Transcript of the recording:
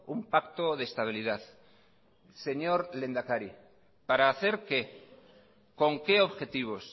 un pacto de estabilidad señor lehendakari para hacer qué con qué objetivos